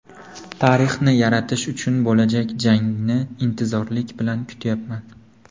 Tarixni yaratish uchun bo‘lajak jangni intizorlik bilan kutyapman.